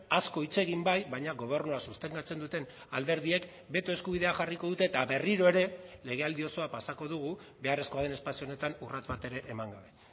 asko hitz egin bai baina gobernua sostengatzen duten alderdiek beto eskubidea jarriko dute eta berriro ere legealdi osoa pasako dugu beharrezkoa den espazio honetan urrats bat ere eman gabe